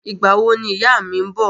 Ìgbà wo ni ìyá mi ń bọ̀?